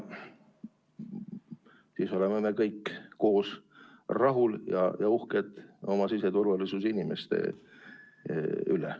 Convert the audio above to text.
Siis oleme kõik koos rahul ja oleme uhked oma siseturvalisuse inimeste üle.